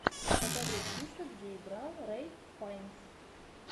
покажи список где играл рэйф файнс